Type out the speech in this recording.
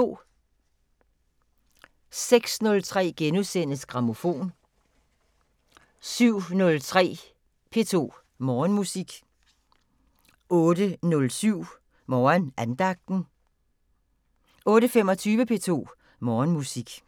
06:03: Grammofon * 07:03: P2 Morgenmusik 08:07: Morgenandagten 08:25: P2 Morgenmusik